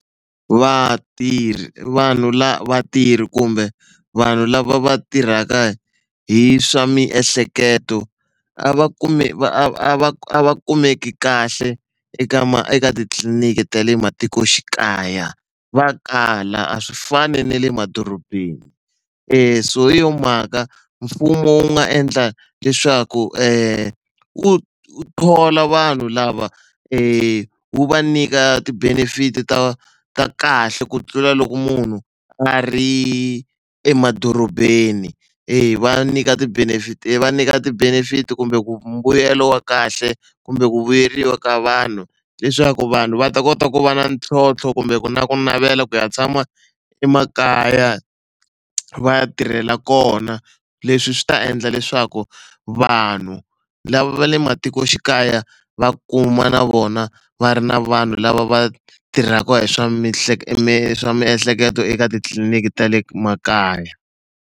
Vatirhi vanhu lava vatirhi kumbe vanhu lava va tirhaka hi swa miehleketo a va a va a va a va kumeki kahle eka eka titliliniki ta le matikoxikaya va kala a swi fani na le madorobeni se hi yo mhaka mfumo wu nga endla leswaku wu wu thola vanhu lava wu va nyika ti-benefit ta ta kahle ku tlula loko munhu a ri emadorobeni e va nyika ti-benefit va nyika ti-benefit kumbe ku mbuyelo wa kahle kumbe ku vuyeriwa ka vanhu leswaku vanhu va ta kota ku va na ntlhontlho kumbe ku na ku navela ku ya tshama emakaya va tirhela kona. Leswi swi ta endla leswaku vanhu lava va le matikoxikaya va kuma na vona va ri na vanhu lava va tirhaka hi swa hi swa miehleketo eka titliliniki ta le makaya.